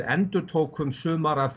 endurtókum sumar af